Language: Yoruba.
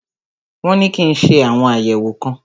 Wọn ní kí n ṣe àwọn àyẹ̀wò kan.